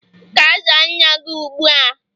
Ga zaa nna gi ụgbụ a